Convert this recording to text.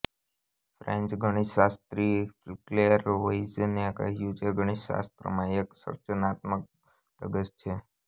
French ગણિતશાસ્ત્રી Claire વોઈઝિને કહ્યું છે ગણિતશાસ્ત્રમાં એક સર્જનાત્મક ધગશ છે